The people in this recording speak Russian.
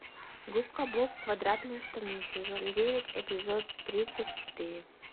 губка боб квадратные штаны сезон девять эпизод тридцать четыре